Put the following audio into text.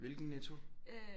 Hvilken Netto